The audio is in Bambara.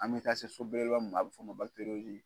An bɛ taa se so belebeleba min ma a bɛ fɔ o ma